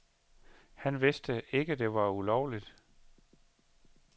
Han vidste ikke, det var ulovligt.